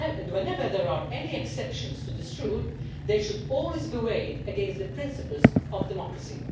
Whenever there are any exceptions to this rule, they should always be weighed against the principles of democracy.